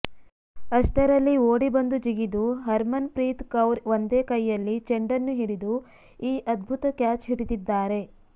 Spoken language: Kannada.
ಅಷ್ಟರಲ್ಲಿ ಓಡಿ ಬಂದು ಜಿಗಿದು ಹರ್ಮನ್ ಪ್ರೀತ್ ಕೌರ್ ಒಂದೇ ಕೈಯಲ್ಲಿ ಚೆಂಡನ್ನು ಹಿಡಿದು ಈ ಅದ್ಭುತ ಕ್ಯಾಚ್ ಹಿಡಿದಿದ್ದಾರೆ